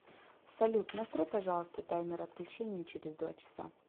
салют настрой пожалуйста таймер отключения через два часа